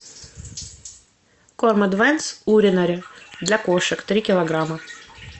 корм эдванс уринари для кошек три килограмма